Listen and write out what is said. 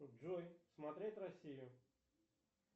джой смотреть россию